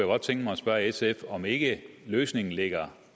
godt tænke mig at spørge sf om ikke løsningen ligger